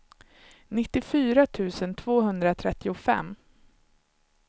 nittiofyra tusen tvåhundratrettiofem